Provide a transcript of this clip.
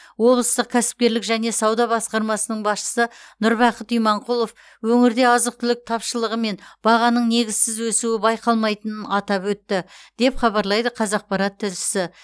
облыстық кәсіпкерлік және сауда басқармасының басшысы нұрбақыт иманқұлов өңірде азық түлік тапшылығы мен бағаның негізсіз өсуі байқалмайтынын атап өтті деп хабарлайды қазақпарат тілшісі